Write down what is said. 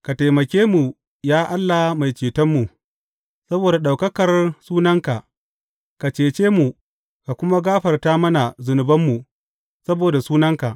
Ka taimake mu, ya Allah Mai Cetonmu, saboda ɗaukakar sunanka; ka cece mu ka kuma gafarta mana zunubanmu saboda sunanka.